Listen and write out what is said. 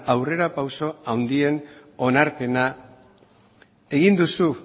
aurrerapauso handien onarpena egin duzu